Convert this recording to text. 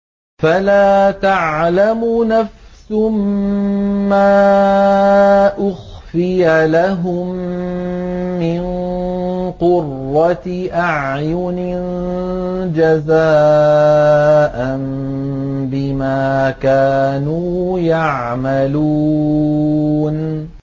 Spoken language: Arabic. فَلَا تَعْلَمُ نَفْسٌ مَّا أُخْفِيَ لَهُم مِّن قُرَّةِ أَعْيُنٍ جَزَاءً بِمَا كَانُوا يَعْمَلُونَ